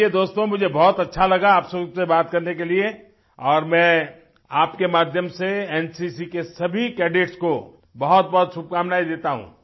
चलिए दोस्तों मुझे बहुत अच्छा लगा आप सबसे बात करने के लिए और मैं आपके माध्यम से एनसीसी के सभी कैडेट्स को बहुतबहुत शुभकामनाएँ देता हूँ